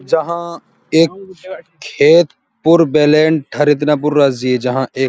जहाँ एक खेत जहाँ एक --